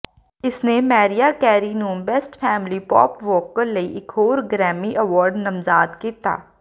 ਇਸਨੇ Mariah Carey ਨੂੰ best female pop vocal ਲਈ ਇਕ ਹੋਰ ਗ੍ਰੈਮੀ ਅਵਾਰਡ ਨਾਮਜ਼ਦ ਕੀਤਾ